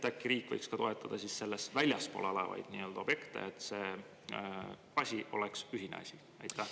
Äkki riik võiks toetada sellest väljaspool olevaid objekte, et see oleks ühine asi?